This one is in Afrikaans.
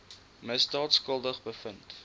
misdaad skuldig bevind